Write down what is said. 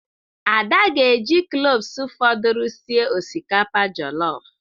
Ada ga-eji kloves fọdụrụ sie osikapa jọlọf.